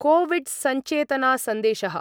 कोविड्सञ्चेतनासन्देशः